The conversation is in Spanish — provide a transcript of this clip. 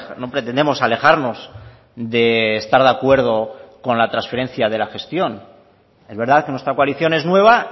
no pretendemos alejarnos de estar de acuerdo con la transferencia de la gestión es verdad que nuestra coalición es nueva